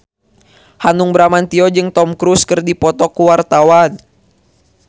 Hanung Bramantyo jeung Tom Cruise keur dipoto ku wartawan